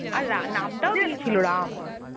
আর রা~ নাম টাও রাম